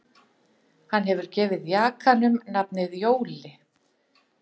Hann hefur gefið jakanum nafnið Jóli